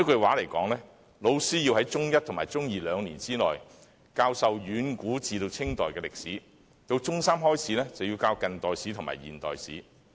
換言之，老師要在中一及中二兩年內，教授遠古至清代的歷史，到中三開始，便要教近代史和現代史。